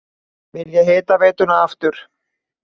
Vilja hitaveituna aftur